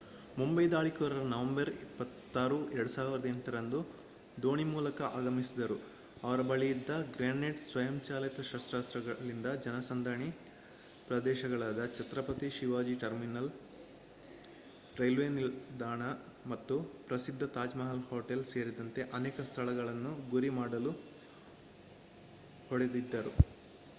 ಮುಂಬೈ ದಾಳಿಕೋರರು ನವೆಂಬರ್ 26 2008 ರಂದು ದೋಣಿ ಮೂಲಕ ಆಗಮಿಸಿದರು ಅವರ ಬಳಿಯಿದ್ದ ಗ್ರೆನೇಡ್ ಸ್ವಯಂಚಾಲಿತ ಶಸ್ತ್ರಾಸ್ತ್ರಗಳಿಂದ ಜನಸಂದಣಿ ಪ್ರದೇಶಗಳಾದ ಛತ್ರಪತಿ ಶಿವಾಜಿ ಟರ್ಮಿನಸ್ ರೈಲ್ವೆ ನಿಲ್ದಾಣ ಮತ್ತು ಪ್ರಸಿದ್ಧ ತಾಜ್ ಮಹಲ್ ಹೋಟೆಲ್ ಸೇರಿದಂತೆ ಅನೇಕ ಸ್ಥಳಗಳನ್ನು ಗುರಿ ಮಾಡಲು ಹೊಡೆದಿದ್ದರು